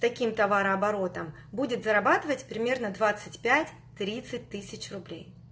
таким товарооборотом будет зарабатывать примерно двадцать пять тридцать тысяч рублей